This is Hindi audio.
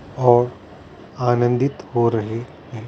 और आनंदित हो रहें है ।